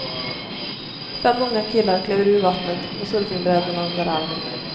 Fem unga killar kliver ur vattnet med surfingbrädorna under armen.